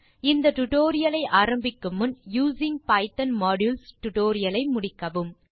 இந்த டியூட்டோரியல் ஐ ஆரம்பிக்கும் முன் யூசிங் பைத்தோன் மாடியூல்ஸ் டுடோரியலை முடிக்கவும்